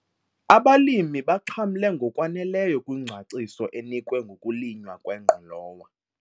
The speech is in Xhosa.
Abalimi baxhamle ngokwaneleyo kwingcaciso enikwe ngokulinywa kwengqolowa.